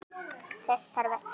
Þess þarf ekki.